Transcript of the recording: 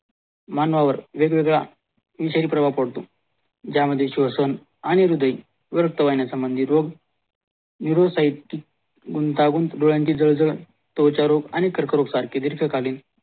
मानवावर वेगवेगळा यशही प्रवाह पडतो ज्या मध्ये स्वशन आणि हृदयी रक्तवाहिनीचा निरोग गुंतावून डोळ्यांची जडजडण अनित्वाचा रोग सारखी दीर्घ कालीन